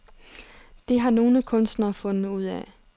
Det har nogle kunstnere fundet ud af.